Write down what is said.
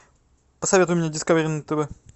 посоветуй мне дискавери на тв